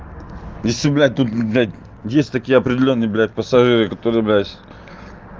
без тебя тут блядь если такие определённые блять пассажиры которые блядь